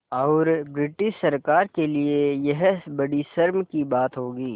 और ब्रिटिश सरकार के लिये यह बड़ी शर्म की बात होगी